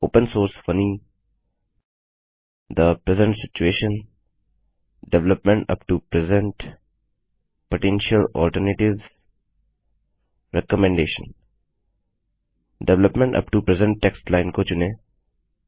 open source funny the present situation development up to present potential alternatives recommendation development up to present text line को चुनें